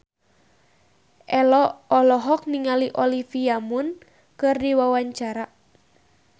Ello olohok ningali Olivia Munn keur diwawancara